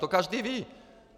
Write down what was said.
To každý ví!